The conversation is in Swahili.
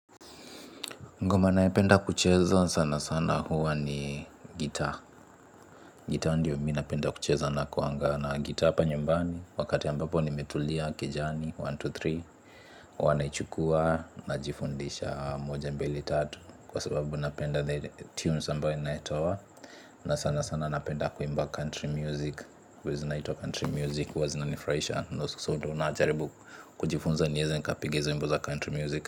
Ngoma nayopenda kucheza sana sana huwa ni gita. Gita ndio mi napenda kucheza nakuanga na gita apa nyumbani. Wakati ambapo nimetulia kejani, moja, mbili, tatu. Huwa naichukua najifundisha moja mbili tatu. Kwa sababu napenda the tunes ambayo inatoa na sana sana napenda kuimba country music. Kwa zinaitwa country music, huwa zinanifuraisha. So ndio na jaribu kujifunza nieze nikapige hizi wimbo za country music.